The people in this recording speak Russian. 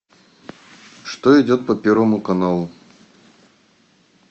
что идет по первому каналу